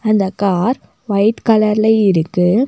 அந்த car white கலர்ல இருக்கு.